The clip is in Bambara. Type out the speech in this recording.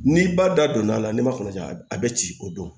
N'i ba da donna a la n'i ma kɔnɔja a be ci o don